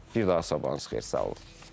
Bir daha sabahınız xeyir, sağ olun.